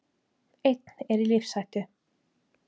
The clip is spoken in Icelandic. Einn er í lífshættu